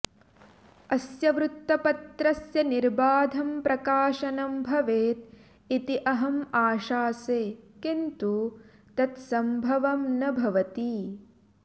अस्य वृत्तपत्रस्य निर्बाधं प्रकाशनं भवेत् इति अहम् आशासे किन्तु तत् संभवम् न भवति